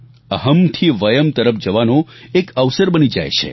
અહમ્ થી વયમ્ તરફ જવાનો એક અવસર બની જાય છે